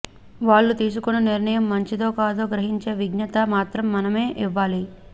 వాళ్ళు తీసుకొన్న నిర్ణయం మంచిదో కాదో గ్రహించే విజ్ఞత మాత్రం మనమే ఇవ్వాలి